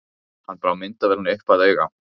Hann brá myndavélinni upp að auga.